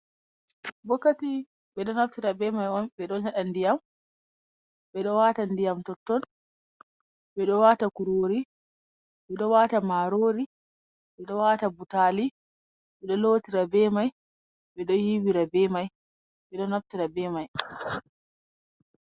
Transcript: "Ɓokati" Ɓe ɗo naftira be mai on ɓe yeɗa ndiyam ɓe ɗo wata ndiyam totton ɓe ɗo wata kurori ɓe ɗo wata marori ɓe ɗo wata butali ɓe ɗo lotira be mai ɓe ɗo yiwira be mai ɓe ɗo naftira be mai.